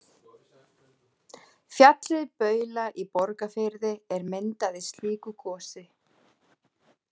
Fjallið Baula í Borgarfirði er myndað í slíku gosi.